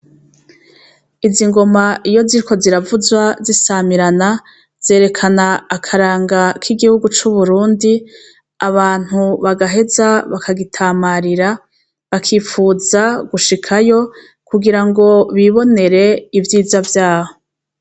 Izi ngoma iyo ziriko ziravuzwa zisamirana, zerekana akaranga k'igihugu c'Uburundi, abantu bagaheza bakagitamarira, bakipfuza gushikayo kugirango bibonere ivyiza vyaho.